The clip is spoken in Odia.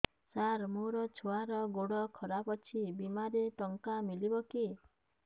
ସାର ମୋର ଛୁଆର ଗୋଡ ଖରାପ ଅଛି ବିମାରେ ଟଙ୍କା ମିଳିବ କି